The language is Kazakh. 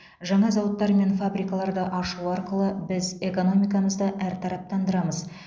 жаңа зауыттар мен фабрикаларды ашу арқылы біз экономикамызды әртараптандырамыз